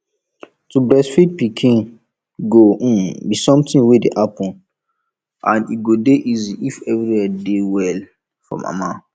to breastfeed pikin go um be something wey dey happen and e go dey easy if everywhere dey well for mama